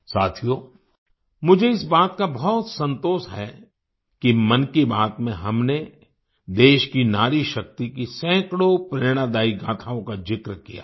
साथियो मुझे इस बात का बहुत संतोष है कि मन की बात में हमने देश की नारी शक्ति की सैकड़ों प्रेरणादायी गाथाओं का जिक्र किया है